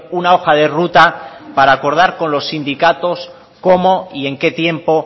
una hoja de ruta para acordar con los sindicatos cómo y en qué tiempo